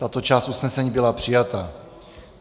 Tato část usnesení byla přijata.